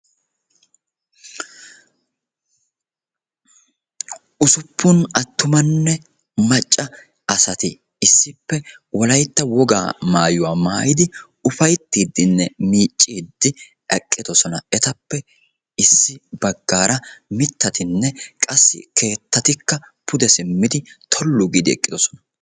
Usuppun attumanne macca asati issippe wolaytta woga maayyuwa maayyidi upayttidinne miiccide eqqidoosona. Etappe issi baggaara mittatinne qassi keettatikka pude simmidi tollu giidi eqqidoosona.